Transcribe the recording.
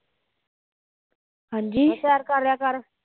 ਫੇਰ ਸੈਰ ਕਰਲਿਆ ਕਰ